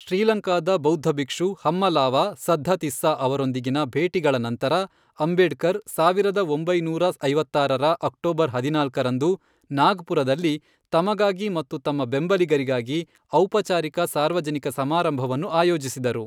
ಶ್ರೀಲಂಕಾದ ಬೌದ್ಧ ಭಿಕ್ಷು ಹಮ್ಮಲಾವಾ ಸದ್ಧಾತಿಸ್ಸಾ ಅವರೊಂದಿಗಿನ ಭೇಟಿಗಳ ನಂತರ, ಅಂಬೇಡ್ಕರ್ ಸಾವಿರದ ಒಂಬೈನೂರ ಐವತ್ತಾರರ ಅಕ್ಟೋಬರ್ ಹದಿನಾಲ್ಕರಂದು ನಾಗ್ಪುರದಲ್ಲಿ ತಮಗಾಗಿ ಮತ್ತು ತಮ್ಮ ಬೆಂಬಲಿಗರಿಗಾಗಿ ಔಪಚಾರಿಕ ಸಾರ್ವಜನಿಕ ಸಮಾರಂಭವನ್ನು ಆಯೋಜಿಸಿದರು.